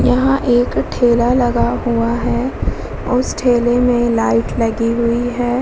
यह एक ठेला लगा हुआ है और उस ठेले में लाइट लगी हुई है।